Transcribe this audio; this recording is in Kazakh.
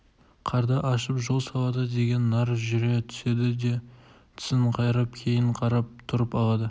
қарды ашып жол салады деген нар жүре түседі де тісін қайрап кейін қарап тұрып алады